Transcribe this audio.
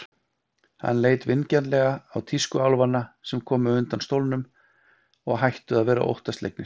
Hann leit vingjarnlega á tískuálfana sem komu undan stólnum og hættu að vera óttaslegnir.